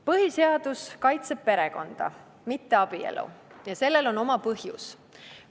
Põhiseadus kaitseb perekonda, mitte abielu, ja sellel on oma põhjus.